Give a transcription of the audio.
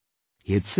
' He had said